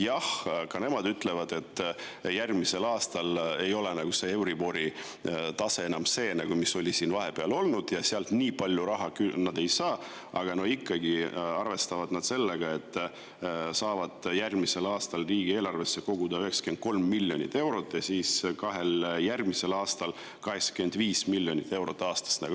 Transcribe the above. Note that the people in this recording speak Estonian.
Jah, ka nemad ütlevad, et järgmisel aastal ei ole euribori tase enam see, mis ta vahepeal oli, ja nad sealt enam nii palju raha ei saa, aga nad ikkagi arvestavad, et saavad järgmisel aastal riigieelarvesse 93 miljonit eurot ja kahel järgmisel aastal 85 miljonit eurot aastas.